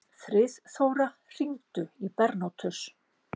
Friðþóra, hringdu í Bernótus.